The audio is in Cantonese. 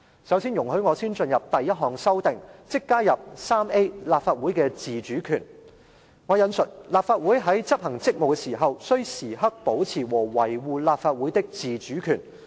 首先，我進入第一項修訂，即加入第 3A 條"立法會的自主權"，"立法會主席在執行職務時，須時刻保持和維護立法會的自主權"。